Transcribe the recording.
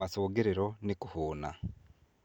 Macũngĩriro nĩ kũhuna.